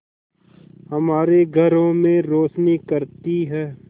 हमारे घरों में रोशनी करती है